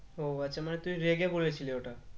ও আচ্ছা মানে তুই রেগে বলেছিলি ওটা?